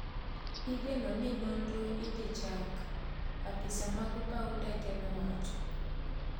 Igeno ni nonro idhichak ,apisa mag pau ndeke no owacho